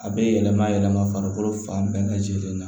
A bɛ yɛlɛma yɛlɛma farikolo fan bɛɛ lajɛlen na